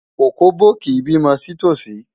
Òkóbó kì í bímọ sí tòsí.